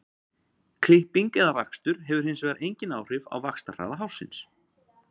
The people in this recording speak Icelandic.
Klipping eða rakstur hefur hins vegar engin áhrif á vaxtarhraða hársins.